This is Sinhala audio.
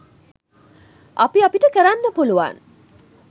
අපි අපට කරන්න පුළුවන්